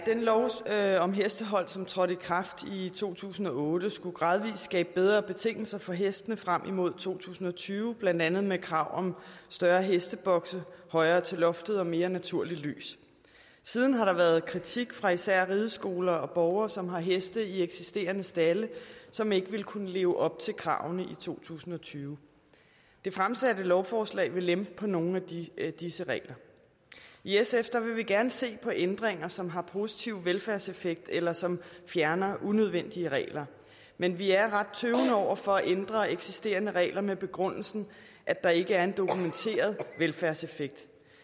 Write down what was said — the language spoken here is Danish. lov om hestehold som trådte i kraft i to tusind og otte skulle gradvis skabe bedre betingelser for hestene frem imod to tusind og tyve blandt andet med krav om større hestebokse højere til loftet og mere naturligt lys siden har der været kritik fra især rideskoler og borgere som har heste i eksisterende stalde som ikke vil kunne leve op til kravene i to tusind og tyve det fremsatte lovforslag vil lempe på nogle af disse regler i sf vil vi gerne se på ændringer som har positiv velfærdseffekt eller som fjerner unødvendige regler men vi er ret tøvende over for at ændre eksisterende regler med begrundelsen at der ikke er en dokumenteret velfærdseffekt